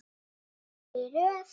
Allir í röð!